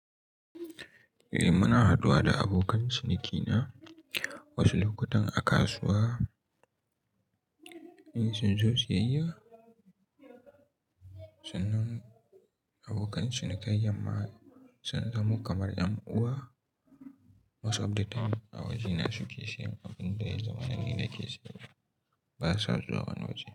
Eh, muna haduwa da abokan cinikina wasu lokutan a kasuwa in sun zo siyayya. Sannan abokan cinikin yamma sun zamo kamar ƴan uwa. Most of the time a wajena suke sayan abin da yayi zamanin yake sayarwa. Ba sa zuwa wani waje.